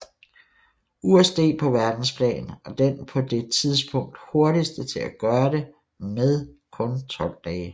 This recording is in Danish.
USD på verdensplan og den på det tidspunkt hurtigste til at gøre det med kun 12 dage